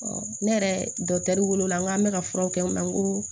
ne yɛrɛ dɔkitɛriw wolo la n k'an bɛ ka furaw kɛ o la n ko